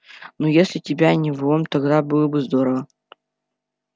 ну если тебя не в лом тогда было бы здорово